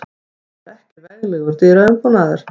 Þetta var ekki veglegur dyraumbúnaður.